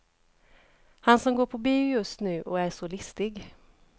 Han som går på bio just nu och är så listig.